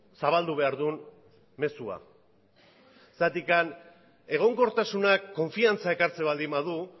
zabaldu behar duen mezua egonkortasunak konfidantza ekartzen baldin badu